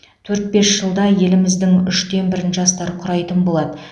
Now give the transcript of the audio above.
төрт бес жылда еліміздің үштен бірін жастар құрайтын болады